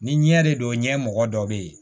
Ni ɲɛ de don ɲɛ mɔgɔ dɔ be yen